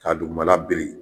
Ka dugumana biri